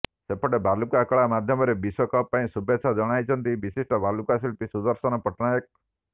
ସେପଟେ ବାଲୁକା କଳା ମାଧ୍ୟମରେ ବିଶ୍ୱକପ୍ ପାଇଁ ଶୁଭେଚ୍ଛା ଜଣାଇଛନ୍ତି ବିଶିଷ୍ଟ ବାଲୁକା ଶିଳ୍ପୀ ସୁଦର୍ଶନ ପଟ୍ଟନାୟକ